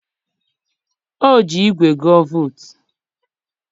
o ji igwe gụa vootu